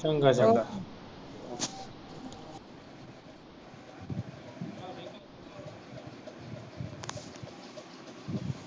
ਚੰਗਾ